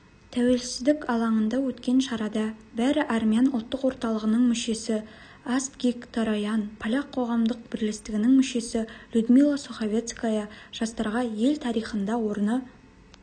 тәуелсіздік алаңында өткен шарада бари армян ұлттық орталығының мүшесі астгик тороян поляк қоғамдық бірлестігінің мүшесі людмила суховецкая жастарға ел тарихында орны